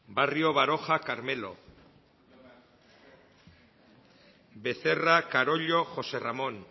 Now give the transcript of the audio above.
barrio baroja carmelo becerra carollo josé ramón